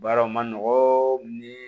Baaraw ma nɔgɔ ni